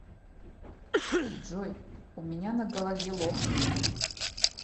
джой у меня на голове лохмы